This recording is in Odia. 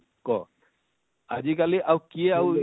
କ ଆଜିକାଲି ଆଉ କିଏ ଆଉ